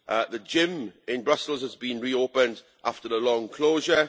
The gym in Brussels has been reopened after a long closure.